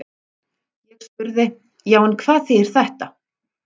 Ég spurði: Já, en hvað þýðir þetta?